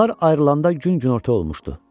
Onlar ayrılanda gün günorta olmuşdu.